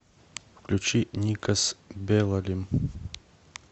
включи никос белалим